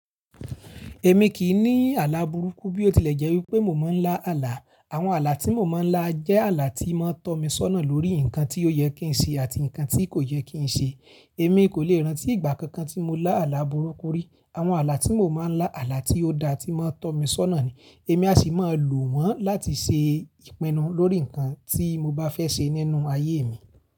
Èmi kì í ní àlá burúkú bí ó tilẹ̀ jẹ́ wípé mo máa ń lá àlá. Àwọn àlá tí mo máa ń lá jẹ́ àlá tíi máa tọ́ mi sọ́nà lórí nǹkan tí ó yẹ kí ń ṣe àti nǹkan tí kò yẹ kí ń ṣe. Èmi kò lè rántí ìgbà kankan tí mo lá àlá burúkú rí. Àwọn àlá tí mo máa ń lá, àlá tí ó da tí máa ń tọ́ mi sọ́nà ni. Èmi a sì máa lò wọ́n láti ṣe ìpinnu lórí nǹkan tí mo bá fẹ́ ṣe nínú ayé mi.